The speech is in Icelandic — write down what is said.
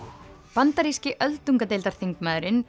bandaríski öldungadeildarþingmaðurinn